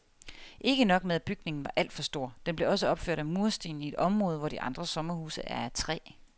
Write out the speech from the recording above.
Ikke nok med at bygningen var alt for stor, den blev også opført af mursten i et område, hvor de andre sommerhuse er af træ.